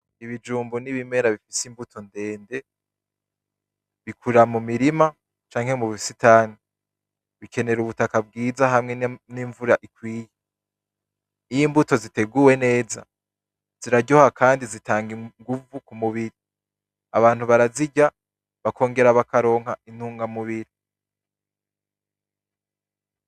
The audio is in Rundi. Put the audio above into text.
Ibijumbu n'ibimera bifise imbuto ndende bikurira mu mirima canke mu busitani bikenera ubutaka bwiza hamwe n'imvura ikwiye, iyo imbuto ziteguwe neza ziraryoha kandi zitanga inguvu ku mubiri abantu barazirya bakongera bakaronka intunga mubiri.